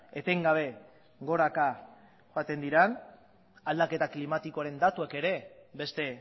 etengabe goraka joaten diren aldaketa klimatikoaren datuek ere beste